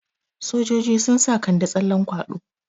Sojoji sun sa Kande tsallan kwaɗo.